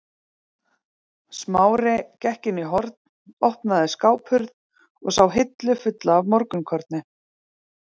Smári gekk inn í horn, opnaði skáphurð og sá hillu fulla af morgunkorni.